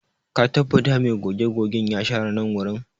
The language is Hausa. Ka tabbata mai goge-gogen ya share nan wurin?